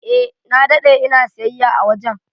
Eh, na dade ina siyayya a wajen.